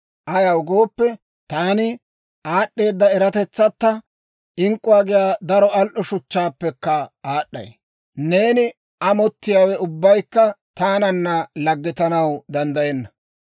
Ayaw gooppe taani, aad'd'eeda eratetsatta, ink'k'uwaa giyaa daro al"o shuchchaappekka aad'd'ay; neeni amottiyaawe ubbaykka taananna laggetanaw danddayenna.